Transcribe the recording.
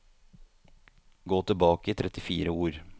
Gå tilbake trettifire ord